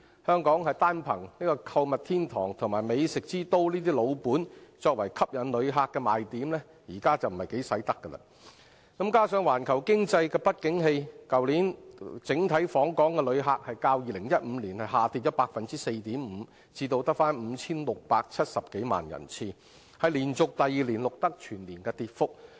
香港單憑購物天堂及美食之都的"老本"作為吸引旅客的賣點已不奏效；加上環球經濟不景氣，去年整體訪港旅客較2015年下跌 4.5% 至 5,670 多萬人次，是連續第二年錄得全年跌幅。